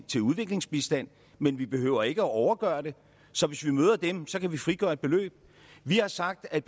til udviklingsbistand men vi behøver ikke at overgøre det så hvis vi møder dem så kan vi frigøre et beløb vi har sagt at